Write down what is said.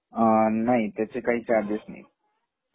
नाही त्याचे काही चार्गेस नाही